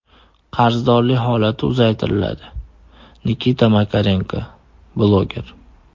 Qarzdorlik holati uzaytiriladi”, – Nikita Makarenko, bloger.